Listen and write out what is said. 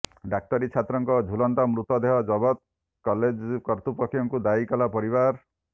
ଡାକ୍ତରୀ ଛାତ୍ରଙ୍କ ଝୁଲନ୍ତା ମୃତଦେହ ଜବତ କଲେଜ କର୍ତୃପକ୍ଷଙ୍କୁ ଦାୟୀ କଲା ପରିବାର